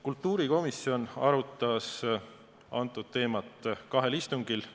Kultuurikomisjon arutas antud teemat kahel istungil.